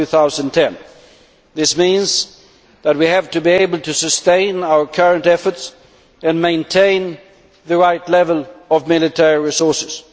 2010. This means that we have to be able to sustain our current efforts and maintain the right level of military resources.